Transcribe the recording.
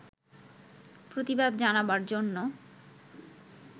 প্রতিবাদ জানাবার জন্য